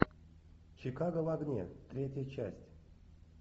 чикаго в огне третья часть